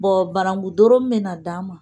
Bɔn banananku doro min bɛ na d'an ma